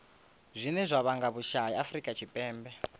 zwine zwa vhanga vhusai afurika tshipembe